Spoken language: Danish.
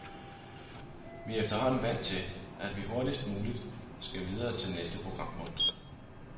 Vi er efterhånden vant til, at vi hurtigst muligt skal videre til næste programpunkt.